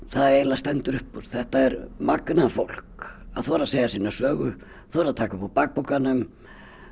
það eiginlega stendur upp úr þetta er magnað fólk að þora að segja sína sögu þora að taka upp úr bakpokanum